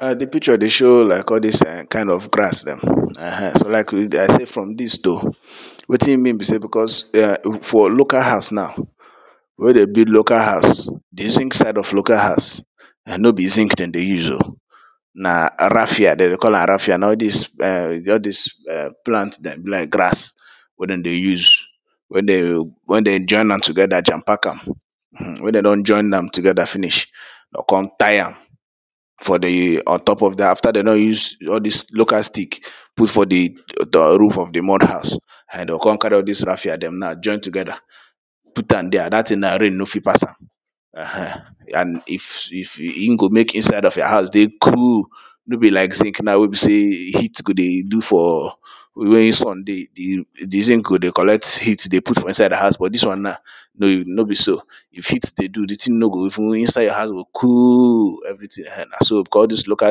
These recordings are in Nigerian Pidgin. um di picture dey show like all dis kind of grass dem um likely from dis wetin e mean be sey becos um for local house now wey dem build local house di zinc side of local house and no be zinc dem dey use oh na raffia, dem dey call am raffia na all dis um all dis um plant dem be like grass wen dem dey use, wen dem wey dem join am together jam pack am um wen dem don join dem together finish, dem go come tie am for di on top of dem after dem don use all dis local stick put for di roof of di mud house dem go come carry all dis raffia dem now join together put am there. Dat thing na, rain no fit pass am um and e go make inside of your house dey cool No be like zinc na wey be sey heat go dey do for wey sun dey, di zinc go dey collect heat dey put for inside house but dis one now no be so. If heat dey do thing no go even, inside your house go cool everything um na so becos all dis local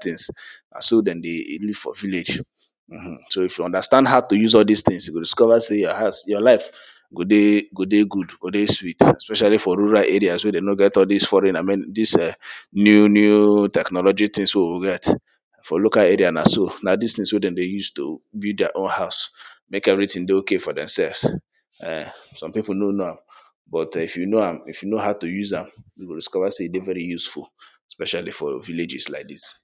things na so dem dey even for village um. So if you understand how to use all dis things you go discover sey your house your life go dey go dey good, go dey sweet especially for rural areas wey dem no get all dis foreign dis um new new technology things wey we get For local area na so na dis things wey dem dey use to build their own house make everything dey okay for demselves um. Some people no know am but em if you know am, if you know how to use am you go discover sey e dey very useful especially for villages like dis